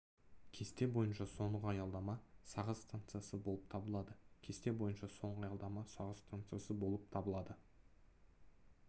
кесте бойынша соңғы аялдама сағыз станциясы болып табылады кесте бойынша соңғы аялдама сағыз станциясы болып табылады